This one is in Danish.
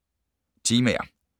Temaer